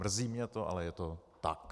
Mrzí mě to, ale je to tak.